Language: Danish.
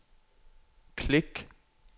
klik